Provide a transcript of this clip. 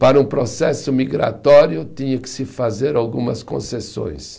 Para um processo migratório, tinha que se fazer algumas concessões.